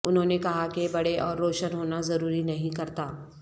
انہوں نے کہا کہ بڑے اور روشن ہونا ضروری نہیں کرتا